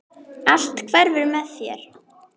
Allt hverfur með þér.